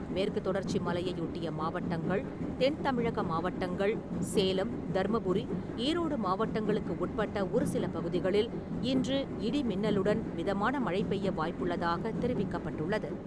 மேற்கு தொடர்ச்சி மலையையொட்டிய மாவட்டங்கள், தென் தமிழக மாவட்டங்கள், சேலம், தர்மபுரி, ஈரோடு மாவட்டங்களுக்கு உட்பட்ட ஒரு சில பகுதிகளில் இன்று இடி மின்னலுடன் மிதமான மழை பெய்ய வாய்ப்புள்ளதாக தெரிவிக்கப்பட்டுள்ளது.